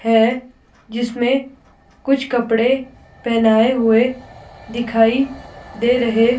है जिसमें कुछ कपड़े पहनाए हुए दिखाई दे रहे--